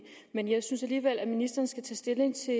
men jeg synes alligevel at ministeren skal tage stilling til